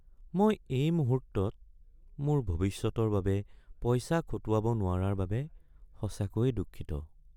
মই এই মুহূৰ্তত মোৰ ভৱিষ্যতৰ বাবে পইচা খটুৱাব নোৱাৰাৰ বাবে সঁচাকৈয়ে দুঃখিত।